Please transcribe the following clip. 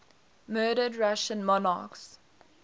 murdered russian monarchs